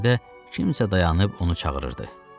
Göyərtədə kimsə dayanıb onu çağırırdı.